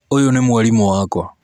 ũyũ nĩ mwarimu wakwa